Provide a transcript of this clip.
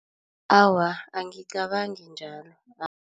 Awa, angicabangi njalo.